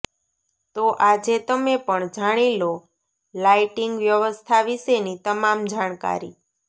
તો આજે તમે પણ જાણી લો લાઈટિંગ વ્યવસ્થા વિશેની તમામ જાણકારી